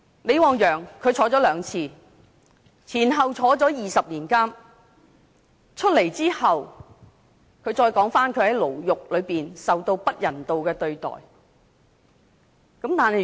李旺陽曾兩次坐牢，前後坐牢20年，出獄後他談到他在獄中受到不人道的對待。